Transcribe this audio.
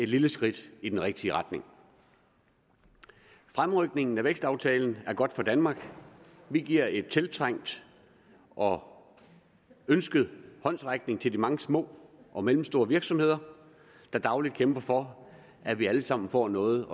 lille skridt i den rigtige retning fremrykningen af vækstaftalen er godt for danmark vi giver en tiltrængt og ønsket håndsrækning til de mange små og mellemstore virksomheder der dagligt kæmper for at vi alle sammen får noget